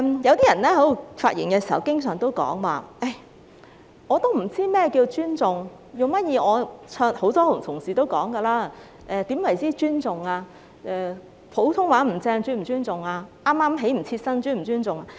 有些人發言時經常說"我不知道怎樣才算尊重"，很多同事都問何謂不尊重，普通話說得不標準是否不尊重？